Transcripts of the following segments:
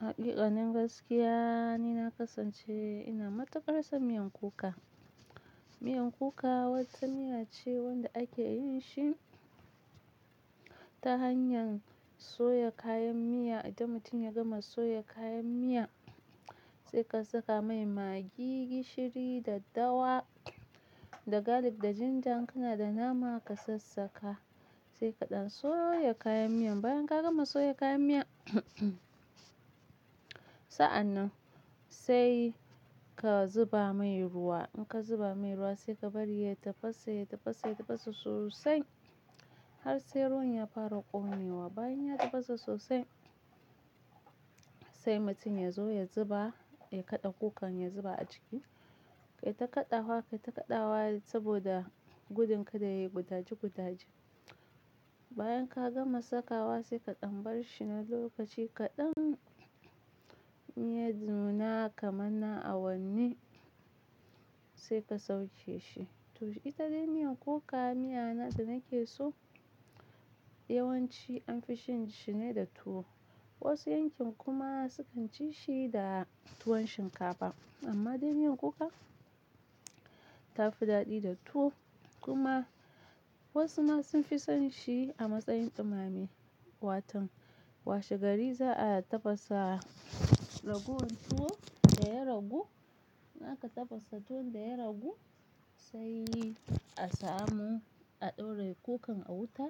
Haƙiƙanin gaskiya, ni na kasance ina matuƙar son miyan kuka. Miyan kuka wata miya ce wanda ake yin shi ta hanyar soya kayan miya. Idan mutum ya gama soya kayan miya sai ka saka mai magi, gishiri daddawa, da garlic da jinja, kana da nama ka sassaka sai kaɗan soya kayan miyan. Bayan ka gama soya kayyan miyan, sa'an nan sai ka zuba mai ruwa. In ka zuba mai ruwa sai ka bari ya tafasa, ya tafasa, ya tafasa sosai har sai ruwan ya fara ƙone wa. Bayan ya tafasa sosai sai mutum ya zo ya zuba, ya kaɗa kukan ya zuba a ciki. Kai ta kaɗawa, kai ta kaɗawa saboda gudun kada yayi gudaji-gudaji. Bayan ka gama sakawa sai kaɗan bar shi na lokaci kaɗan, idan yanuna kaman na awanni sai ka sauke shi. To ita dai miyan kuka, miya na da nake so. Yawanci anfi cinshi ne da tuwo, wasu yankin kuma sukan ci shi ne da tuwon shinkafa, amma dai miyan kuka tafi dadi da tuwo kuma wasu ma sunfi son shi ne a matsayin dumame Kai ta kaɗawa, kai ta kaɗawa saboda gudun kada yayi kutaji-kutaji. In aka tafasa tuwon da ya ragu, a samu a dora kukan a wuta to ita dai miyan kuka, miya na da nake so. Yawan ci an fi shan shi ne da tuwo, wasu yankin kuma sukan ci shi da tuwon shinkafa. Amma dai miyan kuka ta fi daɗi da tuwo kuma wasu ma sun fi son shi a matsayin dumame. Watan washe gari za'a tafasa ragowan tuwo da ya ragu. Naka tafasa tuwon da ya ragu sai a samu a ɗora kukan a wuta.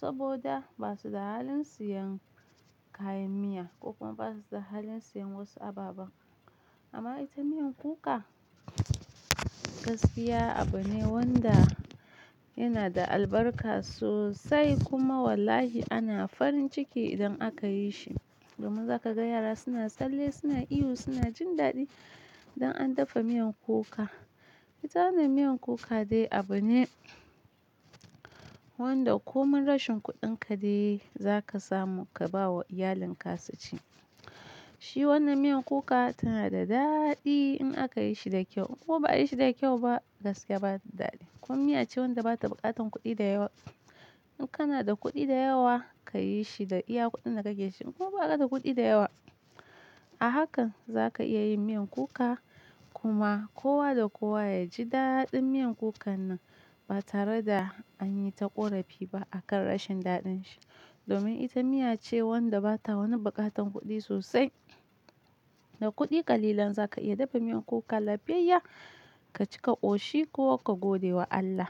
Saboda ba su da halin siyan kayan miya ko kuma ba su da halin siyan wasu ababen amma ita miyan kuka gaskiya abu ne wanda yana da albarka sosai kuma wallahi ana farin ciki idan aka yi shi. Domin za ka ga yara suna tsalle, suna ihu, suna jin daɗi idan an dafa miyan kuka. Ita nan miyan kuka dai abu ne wanda ko min rashin kuɗin ka dai za ka samu ka ba wa iyalin ka su ci. Shi wannan miyan kuka tana da daɗi in aka yi shi da kyau. Ko ba a yi shi da kyau ba gaskiya bata daɗi. Kuma miya ce wanda bata buƙatan kuɗi da yawa. In kana da kuɗi da yawa ka yi shi da iya kuɗin da kake shi ko ba ka da kuɗi da yawa, a hakan zaka iya yin miyan kuka. Kuma kowa da kowa ya ji daɗin miyan kukan nan ba tare da an yi ta ƙorafi ba akan rashin daɗin shi. Domin ita miya ce wanda bata wani buƙatan kuɗi sosai. Da kuɗi ƙalilan za ka iya dafa miyan kuka. Lafiyayya, ka ci ka ƙoshi ko ka gode wa Allah.